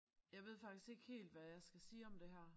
Jeg ved faktisk ikke helt hvad jeg skal sige om det her